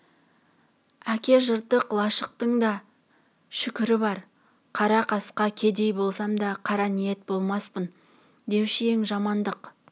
әке жыртық лашықтың да шүкірі бар қара-қасқа кедей болсам да қара ниет болмаспын деуші ең жамандық